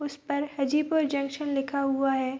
उस पर हाजीपुर जंक्शन लिखा हुआ है।